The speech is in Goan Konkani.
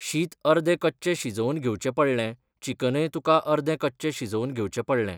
शीत अर्दे कच्चें शिजोवन घेवचें पडलें, चिकनूय तुका अर्दें कच्चें शिजोवन घेवचें पडलें.